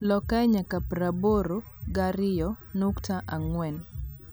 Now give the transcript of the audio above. lok kae nyaka praaboro gi ariyo nukta angwen